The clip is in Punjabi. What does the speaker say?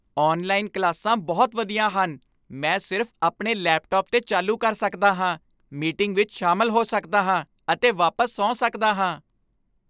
ਔਨਲਾਈਨ ਕਲਾਸਾਂ ਬਹੁਤ ਵਧੀਆ ਹਨ ਮੈਂ ਸਿਰਫ਼ ਆਪਣੇ ਲੈਪਟਾਪ 'ਤੇ ਚਾਲੂ ਕਰ ਸਕਦਾ ਹਾਂ, ਮੀਟਿੰਗ ਵਿੱਚ ਸ਼ਾਮਲ ਹੋ ਸਕਦਾ ਹਾਂ ਅਤੇ ਵਾਪਸ ਸੌਂ ਸਕਦਾ ਹਾਂ